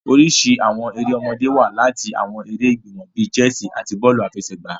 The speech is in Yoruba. Oriṣi awọn èrè ọmọdé wa lati awọn èrè igbimọ bi chessi ati bọọlu afẹsẹgba.